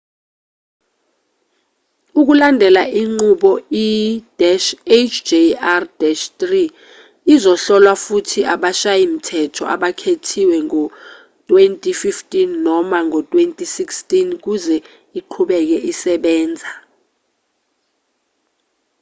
ukulandela inqubo i-hjr-3 izohlolwa futhi abashayi-mthetho abakhethiwe ngo-2015 noma ngo-2016 ukuze iqhubeke isebenza